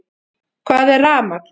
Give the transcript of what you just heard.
Hvað er rafmagn?